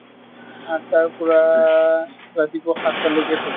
আঠটাৰ পৰা ৰাতিপুৱা সাত টা লৈকে থাকো।